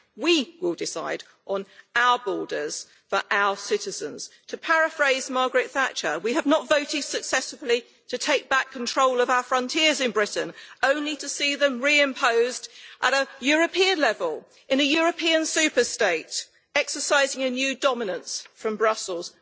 We will decide on our borders for our citizens. To paraphrase Margaret Thatcher, we have not voted successively to take back control of our frontiers in Britain only to see them reimposed at a European level, in a European superstate, exercising a new dominance from Brussels.